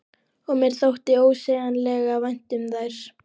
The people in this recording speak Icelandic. Og mér þótti ósegjanlega vænt um þær.